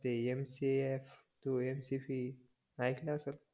ते MCA to mcc ऐकलं असल